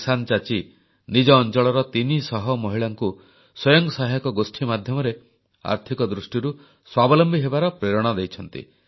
କିସାନ ଚାଚି ନିଜ ଅଂଚଳର ତିନିଶହ ମହିଳାଙ୍କୁ ସ୍ୱୟଂ ସହାୟକ ଗୋଷ୍ଠୀ ମାଧ୍ୟମରେ ଆର୍ଥିକ ଦୃଷ୍ଟିରୁ ସ୍ୱାବଲମ୍ବୀ ହେବାର ପ୍ରେରଣା ଦେଇଛନ୍ତି